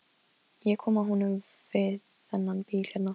Ég kom að honum við þennan bíl hérna.